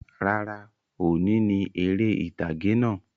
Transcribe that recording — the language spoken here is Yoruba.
Rárá, òní ni eré ìtàgè náà